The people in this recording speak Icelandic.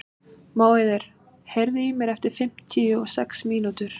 Móeiður, heyrðu í mér eftir fimmtíu og sex mínútur.